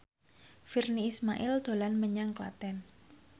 Virnie Ismail dolan menyang Klaten